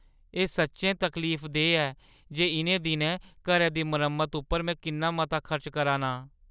एह् सच्चैं तकलीफदेह् ऐ जे इʼनें दिनैं घरै दी मरम्मता उप्पर में किन्ना मता खर्च करा नां ।